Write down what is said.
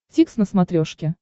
дтикс на смотрешке